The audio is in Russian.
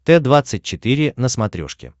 т двадцать четыре на смотрешке